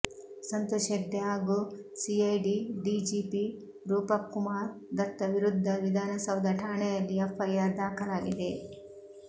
ಸಂತೋಷ್ ಹೆಗ್ಡೆ ಹಾಗೂ CID DGP Rupak Kumar Dutta ವಿರುದ್ದ ವಿಧಾನಸೌಧ ಠಾಣೆಯಲ್ಲಿ ಎಫ್ಐಆರ್ ದಾಖಲಾಗಿದೆ